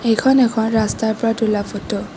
এইখন এখন ৰাস্তাৰ পৰা তোলা ফটো ।